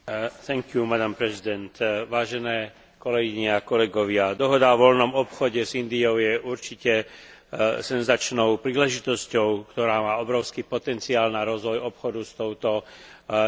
Vážené kolegyne a kolegovia, Dohoda o voľnom obchode s Indiou je určite senzačnou príležitosťou, ktorá má obrovský potenciál na rozvoj obchodu s touto najväčšou demokraciou sveta.